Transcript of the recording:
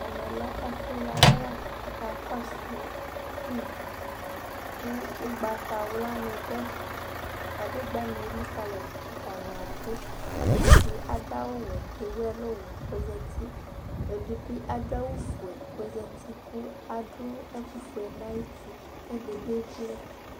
Ɛmɛ lɛ ɛfu yawla k'atani ka kɔsu fim ku ugbatawla ni dù ɛfɛ, kadegbani elikalidù, atani abu, ɔsi di adu awù wɛ k'ewu ɛlu wɛ k'ozati, ɛdi bi adu awù fué k'ozati, k'adu ɛku fue n'ayiti, k'ɛdi bi wlɛ̃